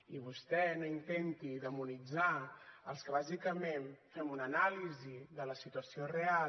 i vostè no intenti demonitzar els que bàsicament fem una anàlisi de la situació real